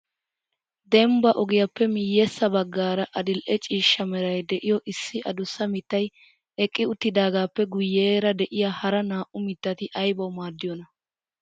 Dembba ogiyappe miyyesa baggaara adil"e ciishsha meray de'iyo issi adussa mittay eqqi uttidaagappe guyyeera de'iyaa hara naa"u mittati aybaw maaddiyoona?